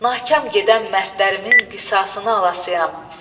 Nahkam gedən mərdlərimin qisasını alasıyam.